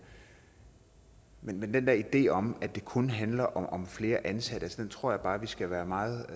men den der idé om at det kun handler om flere ansatte tror jeg bare vi skal være meget